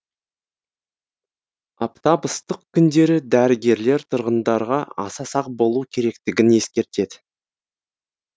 аптап ыстық күндері дәрігерлер тұрғындарға аса сақ болу керектігін ескертеді